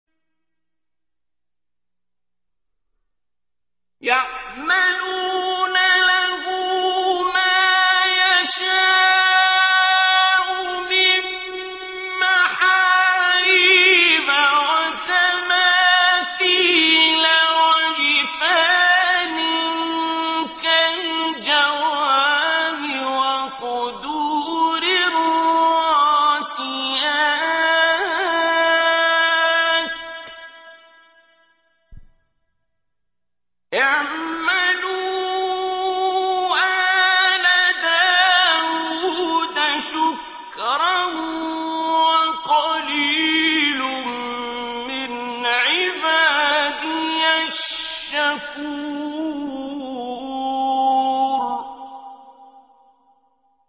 يَعْمَلُونَ لَهُ مَا يَشَاءُ مِن مَّحَارِيبَ وَتَمَاثِيلَ وَجِفَانٍ كَالْجَوَابِ وَقُدُورٍ رَّاسِيَاتٍ ۚ اعْمَلُوا آلَ دَاوُودَ شُكْرًا ۚ وَقَلِيلٌ مِّنْ عِبَادِيَ الشَّكُورُ